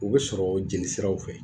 O be sɔrɔ jeli siraw fɛ